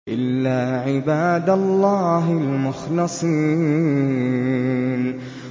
إِلَّا عِبَادَ اللَّهِ الْمُخْلَصِينَ